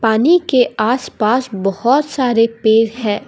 पानी के आस पास बहोत सारे पेर है।